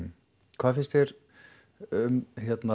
hvað finnst þér um